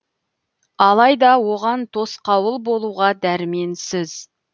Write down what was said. алайда оған тосқауыл болуға дәрменсіз